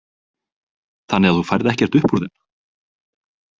Þannig að þú færð ekkert upp úr þeim?